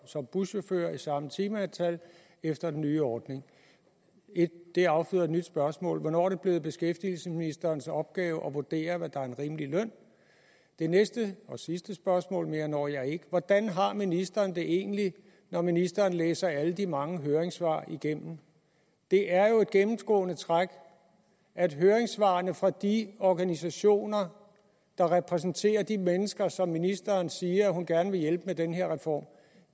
som buschauffør med samme timeantal efter den nye ordning det afføder et nyt spørgsmål hvornår er det blevet beskæftigelsesministerens opgave at vurdere hvad der er en rimelig løn det næste og sidste spørgsmål mere når jeg ikke er hvordan har ministeren det egentlig når ministeren læser alle de mange høringssvar igennem det er jo et gennemgående træk at høringssvarene fra de organisationer der repræsenterer de mennesker som ministeren siger hun gerne hjælpe med den her reform